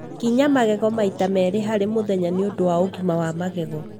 Kinya magego maita merĩ harĩ mũthenya nĩ ũndũ wa ũgima wa magego.